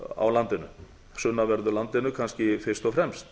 á landinu sunnanverðu landinu kannski fyrst og fremst